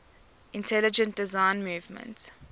intelligent design movement